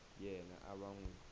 yena a va n wi